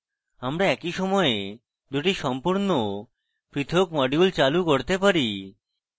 আমরা একই সময়ে দুটি সম্পূর্ণ পৃথক modules চালু করতে পারি